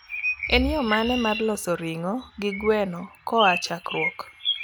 en yo mane mar loso ringo gi gweno koa chakruok